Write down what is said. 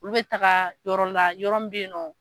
Olu bɛ taaga yɔrɔ la yɔrɔ mun bɛ yen nɔ.